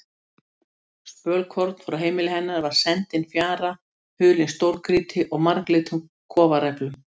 Spölkorn frá heimili hennar var sendin fjara hulin stórgrýti og marglitum kofaræflum.